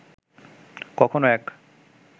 কখনোও এক